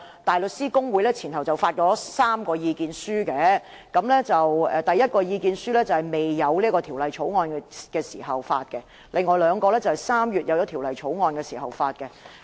大律師公會前後發表了3份意見書，第一份意見書在制訂《條例草案》前發表，另外兩份則在3月《條例草案》制訂後發表。